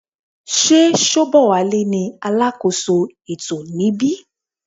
Sé Sobowale ní alákóso ètò níbí.